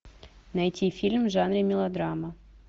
найти фильм в жанре мелодрама